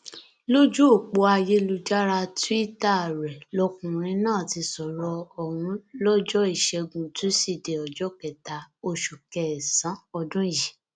lójú ọpọ ayélujára túìta rẹ lọkùnrin náà ti sọrọ ọhún lọjọ ìṣẹgun túṣídéé ọjọ kẹta oṣù kẹsànán ọdún yìí